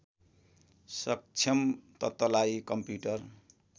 सक्षम तत्त्वलाई कम्प्युटर